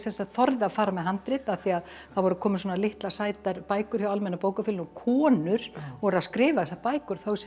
þorði að fara með handrit af því það voru komnar svona litlar sætar bækur hjá Almenna bókafélaginu konur voru að skrifa þessar bækur þá hugsaði